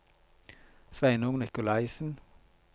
Sveinung Nicolaisen